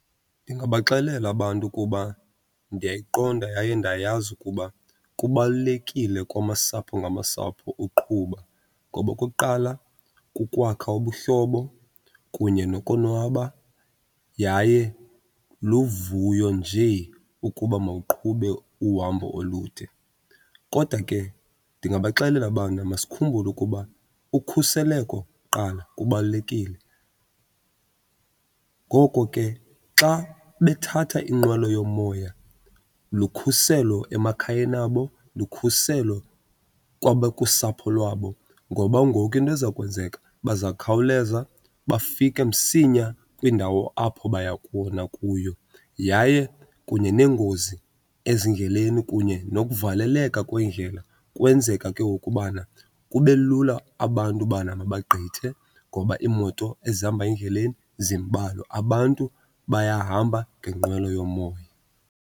Ndingabaxelela abantu ukuba ndiyayiqonda yaye ndayazi ukuba kubalulekile kwamasapho ngamasapho uqhuba ngoba okokuqala kukwakha ubuhlobo kunye nokonwaba, yaye luvuyo nje ukuba mawuqhube uhambo olude. Kodwa ke ndingabaxelela bana masikhumbule ukuba ukhuseleko kuqala kubalulekile. Ngoko ke xa bethatha inqwelo yomoya lukhuselo emakhayeni abo, lukhuselo kusapho lwabo ngoba ngoku into eza kwenzeka bazakhawuleza bafike msinya kwiindawo apho baya khona kuyo. Yaye kunye neengozi ezindleleni kunye nokuvaleleka kweendlela kwenzeka ke ngoku ubana kube lula abantu bana mabagqithe ngoba iimoto ezihamba endleleni zimbalwa abantu bayahamba ngenqwelo yomoya.